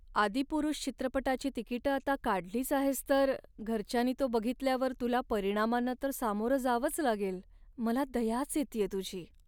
"आदिपुरुष" चित्रपटाची तिकिटं आता काढलीच आहेस तर, घरच्यांनी तो बघितल्यावर तुला परिणामांना तर सामोरं जावंच लागेल. मला दयाच येतेय तुझी.